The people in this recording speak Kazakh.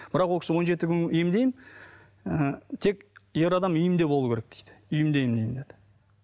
бірақ ол кісі он жеті күн емдеймін ы тек ер адам үйінде болу керек дейді үйінде емдеймін деді